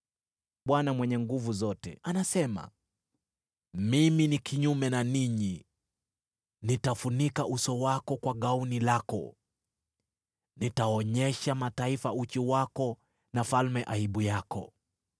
Bwana Mwenye Nguvu Zote anasema, “Mimi ni kinyume na ninyi. Nitafunika uso wako kwa gauni lako. Nitaonyesha mataifa uchi wako na falme aibu yako.